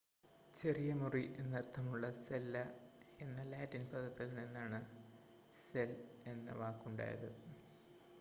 ചെറിയ മുറി എന്നർത്ഥമുള്ള സെല്ല എന്ന ലാറ്റിൻ പദത്തിൽ നിന്നാണ് സെൽ എന്ന വാക്കുണ്ടായത്